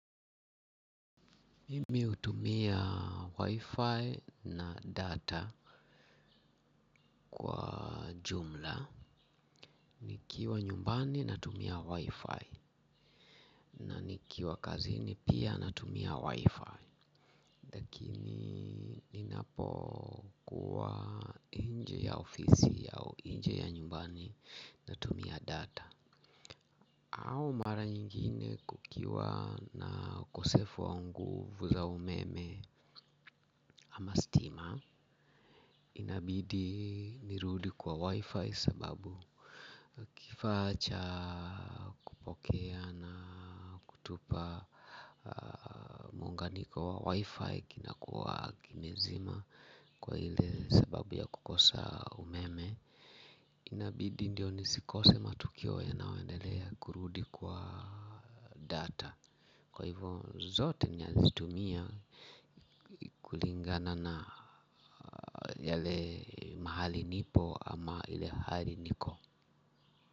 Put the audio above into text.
Mimi hutumia wi-fi na data kwa jumla nikiwa nyumbani natumia wi-fi nikiwa kazini pia natumia wi-fi lakini napokuwa nje ya ofisi au nje ya nyumbani natumia data au mara nyingine kukiwa na ukosefu wa nguvu za umeme ama stima inabidi nirudi kwa wi-fi sababu kifaa cha kupokea na kutupa muunganiko wi-fi kinakuwa kimezima kwa ile sababu ya kukosa umeme inabidi ndio nisikose matukio yanaoendelea kurudi kwa data kwa hivyo zote nazitumia kulingana na yale mahali nipo ama ile hali niko.